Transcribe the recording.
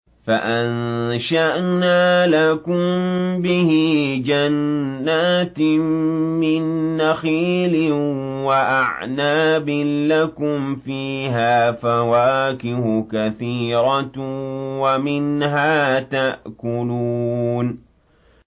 فَأَنشَأْنَا لَكُم بِهِ جَنَّاتٍ مِّن نَّخِيلٍ وَأَعْنَابٍ لَّكُمْ فِيهَا فَوَاكِهُ كَثِيرَةٌ وَمِنْهَا تَأْكُلُونَ